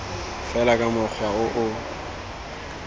fela ka mokgwa o o